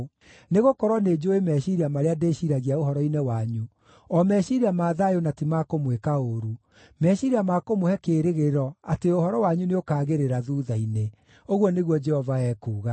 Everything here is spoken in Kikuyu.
Nĩgũkorwo nĩnjũũĩ meciiria marĩa ndĩciiragia ũhoro-inĩ wanyu, o meciiria ma thayũ na ti ma kũmwĩka ũũru, meciiria ma kũmũhe kĩĩrĩgĩrĩro atĩ ũhoro wanyu nĩũkaagĩrĩra thuutha-inĩ,” ũguo nĩguo Jehova ekuuga.